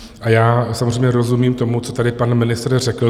A já samozřejmě rozumím tomu, co tady pan ministr řekl.